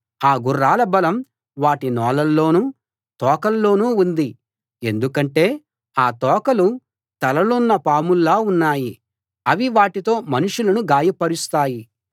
ఆ గుర్రాల బలం వాటి నోళ్ళలోనూ తోకల్లోనూ ఉంది ఎందుకంటే ఆ తోకలు తలలున్న పాముల్లా ఉన్నాయి అవి వాటితో మనుషులను గాయపరుస్తాయి